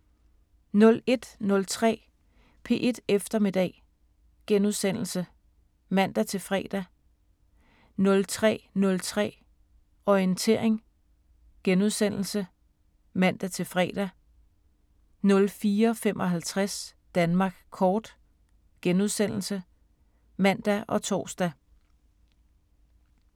01:03: P1 Eftermiddag *(man-fre) 03:03: Orientering *(man-fre) 04:55: Danmark Kort *(man og tor)